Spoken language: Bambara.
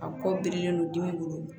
A ko birilen don dimi bolo